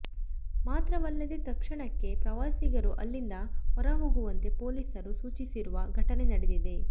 ಮಾತ್ರವಲ್ಲದೆ ತಕ್ಷಣಕ್ಕೆ ಪ್ರವಾಸಿಗರು ಅಲ್ಲಿಂದ ಹೊರಹೋಗುವಂತೆ ಪೊಲೀಸರು ಸೂಚಿಸಿರುವ ಘಟನೆ ನಡೆದಿದೆ